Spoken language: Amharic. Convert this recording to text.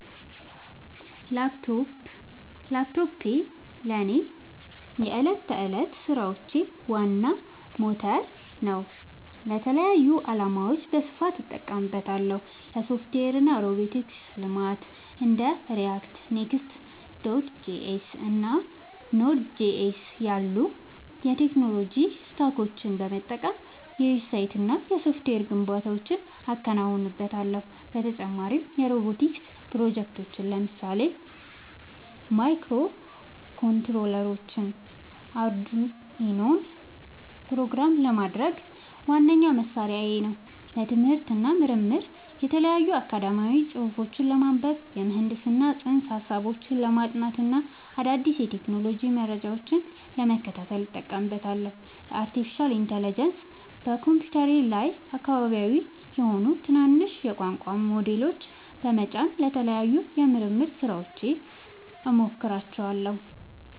ላፕቶፕ ላፕቶፔ ለእኔ የዕለት ተዕለት ሥራዎቼ ዋና ሞተር ነው። ለተለያዩ ዓላማዎች በስፋት እጠቀምበታለሁ - ለሶፍትዌር እና ሮቦቲክስ ልማት እንደ React፣ Next.js እና Node.js ያሉ የቴክኖሎጂ ስታኮችን በመጠቀም የዌብሳይትና የሶፍትዌር ግንባታዎችን አከናውንበታለሁ። በተጨማሪም የሮቦቲክስ ፕሮጀክቶችን (ለምሳሌ ማይክሮኮንትሮለሮችንና አርዱኢኖን) ፕሮግራም ለማድረግ ዋነኛ መሣሪያዬ ነው። ለትምህርት እና ምርምር የተለያዩ አካዳሚያዊ ጽሑፎችን ለማንበብ፣ የምህንድስና ፅንሰ-ሀሳቦችን ለማጥናት እና አዳዲስ የቴክኖሎጂ መረጃዎችን ለመከታተል እጠቀምበታለሁ። ለአርቲፊሻል ኢንተለጀንስ (AI) በኮምፒውተሬ ላይ አካባቢያዊ (local) የሆኑ ትናንሽ የቋንቋ ሞዴሎችን (LLMs) በመጫን ለተለያዩ የምርምር ሥራዎች እሞክራቸዋለሁ።